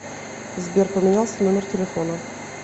сбер поменялся номер телефона